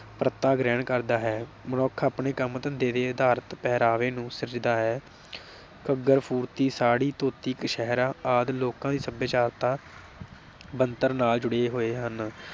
ਗ੍ਰਹਿਣ ਕਰਦਾ ਹੈ। ਮਨੁੱਖ ਆਪਣੇ ਕੰਮ ਧੰਦੇ ਦੇ ਆਧਾਰ ਤੇ ਪਹਿਰਾਵੇ ਨੂੰ ਸਰਜਦਾ ਹੈ। ਘੱਗਰ, ਫੁਰਤੀ, ਸਾੜੀ, ਧੋਤੀ, ਕਸ਼ਹਿਰਾ ਆਦਿ ਲੋਕਾਂ ਦੀ ਸਭਿਆਚਾਰਤਾ ਬਣਤਰ ਨਾਲ ਜੁੜੇ ਹੋਏ ਹਨ ।